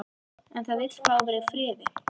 En það vill fá að vera í friði.